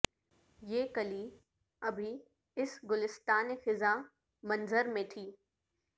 یہ کلی ابھی اس گلستان خزان منظر میں تھی